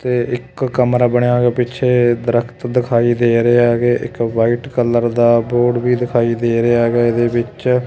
ਤੇ ਇੱਕ ਕਮਰਾ ਬਣਿਆ ਹੋਇਆ ਪਿੱਛੇ ਦ੍ਰਖਤ ਦਿਖਾਈ ਦੇ ਰਹੇ ਹੈਗੇ ਇੱਕ ਵ੍ਹਾਈਟ ਕਲਰ ਦਾ ਬੋਰਡ ਵੀ ਦਿਖਾਈ ਦੇ ਰਿਹਾ ਹੈਗਾ ਇਹਦੇ ਵਿੱਚ।